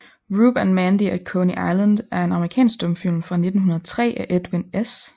Rube and Mandy at Coney Island er en amerikansk stumfilm fra 1903 af Edwin S